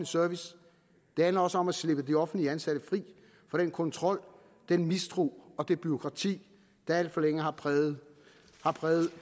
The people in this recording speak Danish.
service det handler også om at slippe de offentligt ansatte fri for den kontrol den mistro og det bureaukrati der alt for længe har præget har præget